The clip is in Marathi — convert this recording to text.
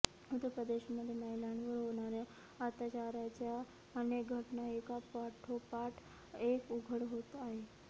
उत्तर प्रदेशमध्ये महिलांवर होणाऱ्या अत्याचाराच्या अनेक घटना एकापाठोपाठ एक उघड होत आहेत